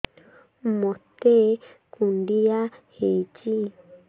ମୋତେ କୁଣ୍ଡିଆ ହେଇଚି